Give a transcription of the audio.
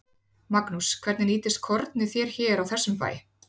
Magnús: Hvernig nýtist kornið þér hér á þessum bæ?